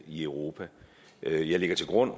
i europa jeg lægger til grund